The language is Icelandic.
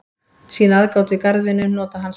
Sýna aðgát við garðvinnu, nota hanska.